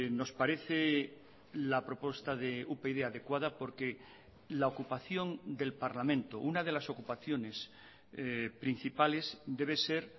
nos parece la propuesta de upyd adecuada porque la ocupación del parlamento una de las ocupaciones principales debe ser